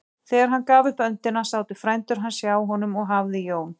Þegar hann gaf upp öndina sátu frændur hans hjá honum og hafði Jón